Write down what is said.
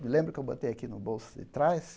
Lembra que eu botei aqui no bolso de trás?